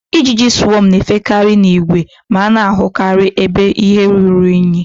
Ijiji swọm na-efekarị n'ìgwè, ma a na-ahụkarị ebe ihe ruru unyi